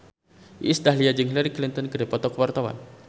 Iis Dahlia jeung Hillary Clinton keur dipoto ku wartawan